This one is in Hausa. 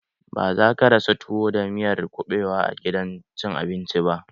Ba za ka rasa tuwo da miyar kuɓewa a gidan cin abinci